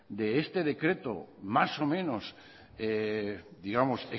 de este decreto más o menor digamos